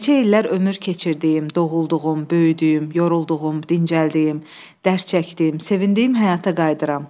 Neçə illər ömür keçirdiyim, doğulduğum, böyüdüyüm, yorulduğum, dincəldiyim, dərs çəkdim, sevindiyim həyata qayıdıram.